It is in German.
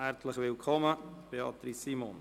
Herzlich willkommen, Beatrice Simon.